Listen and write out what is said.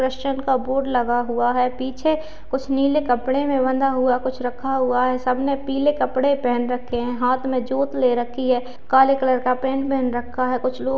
एक क्रिश्चियन का बोर्ड लगा हुआ है पीछे कुछ नीले कपड़े में बंधा हुआ कुछ रखा हुआ है सबने पीले कपड़े पहन रखे हैं हाथ में जोत ले रखी है काले कलर का पेंट पहन रखा है कुछ लोग --